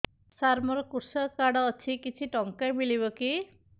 ସାର ମୋର୍ କୃଷକ କାର୍ଡ ଅଛି କିଛି ଟଙ୍କା ମିଳିବ କି